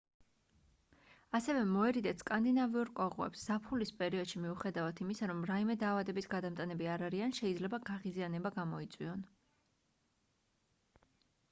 ასევე მოერიდეთ სკანდინავიურ კოღოებს ზაფხულის პერიოდში მიუხედავად იმისა რომ რაიმე დაავადების გადამტანები არ არიან შეიძლება გაღიზიანება გამოიწვიონ